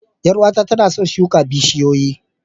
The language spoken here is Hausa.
Yar uwata tana son shuka bishiyoyi